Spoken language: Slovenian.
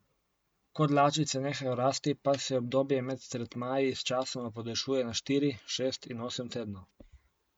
Ko dlačice nehajo rasti, pa se obdobje med tretmaji sčasoma podaljšuje na štiri, šest in osem tednov.